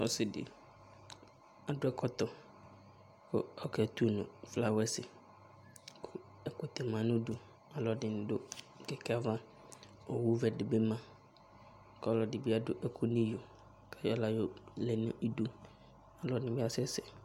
Ɔsɩ dɩ, adʋ ɛkɔtɔ kʋ ɔketu nʋ flawɛsɩ kʋ ɛkʋtɛ ma nʋ udu Alʋɛdɩnɩ dʋ kɛkɛ ava Owuvɛ dɩ bɩ ma kʋ ɔlɔdɩ bɩ adʋ ɛkʋ nʋ iyo kʋ ayɔ aɣla yɔlɛ nʋ idu Ɔlɔdɩ bɩ asɛsɛ